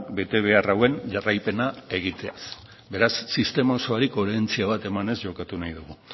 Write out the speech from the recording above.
betebehar hauen jarraipena egiteaz beraz sistema osoari koherentzia bat emanez jokatu nahi dugu